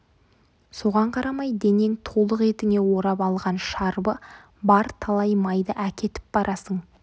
соған қарамай денең толық етіңе орап алған шарбы бар талай майды әкетіп барасың